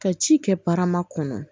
Ka ci kɛ barama kɔnɔ